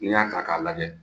N'i y'a ta ka lajɛ